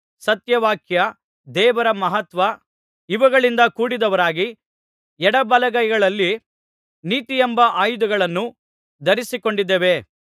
ಸತ್ಯವಾಕ್ಯ ದೇವರ ಮಹತ್ವ ಇವುಗಳಿಂದ ಕೂಡಿದವರಾಗಿ ಎಡಬಲಗೈಗಳಲ್ಲಿ ನೀತಿಯೆಂಬ ಆಯುಧಗಳನ್ನು ಧರಿಸಿಕೊಂಡಿದ್ದೇವೆ